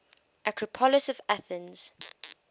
acropolis of athens